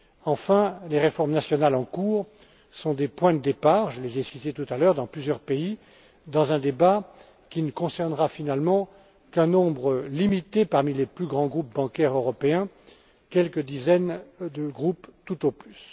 Enfin, les réformes nationales en cours sont des points de départ je les ai citées tout à l'heure dans plusieurs pays dans un débat qui ne concernera finalement qu'un nombre limité parmi les plus grands groupes bancaires européens, quelques dizaines tout au plus.